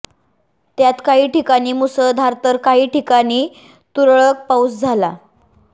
त्यात काही ठिकाणी मुसळधार तर काही ठिकाणी तुरळक पाऊस झाला